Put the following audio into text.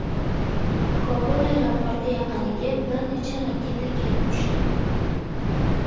Kobul aeroporti yaqiniga bir necha raketa kelib tushdi.